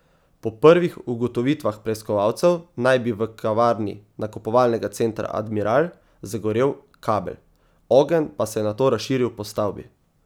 Po prvih ugotovitvah preiskovalcev naj bi v kavarni nakupovalnega centra Admiral zagorel kabel, ogenj pa se je nato razširil po stavbi.